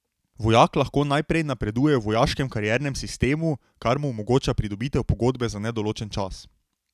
Vojak lahko najprej napreduje v vojaškem kariernem sistemu, kar mu omogoča pridobitev pogodbe za nedoločen čas.